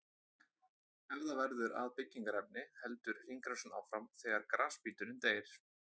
Ef það verður að byggingarefni heldur hringrásin áfram þegar grasbíturinn deyr.